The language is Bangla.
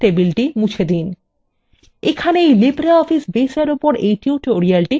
এখানেই libreoffice base এর উপর এই tutorial সমাপ্ত হলো